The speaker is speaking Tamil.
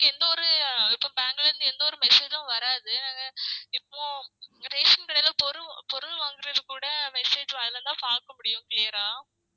எந்த ஒரு இப்போம் bank ல இருந்து எந்த ஒரு message உம் வராது நாங்க இப்போ ரேஷன் கடைல பொருள் பொருள் வாங்குறது கூட message அதுல இருந்து தான் பாக்க முடியும் clear ஆ